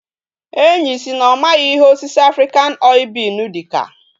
Enyi si na omaghi ihe osisi African oil bean dika